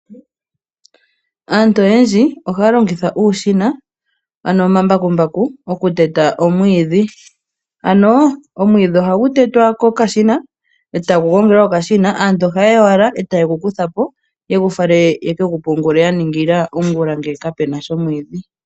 Aantu oyendji ohaya longitha uushina ano omambakumbaku okuteta omwiidhi. Omwiidhi ihagu tetwa kokashina e tagu gongelwa kokashina, aantu ohaye ya owala taye gu kutha po yegu fale yaka pungule yaningila ongula ngele kapuna sha omwiidhi.